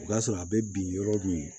O b'a sɔrɔ a bɛ bin yɔrɔ min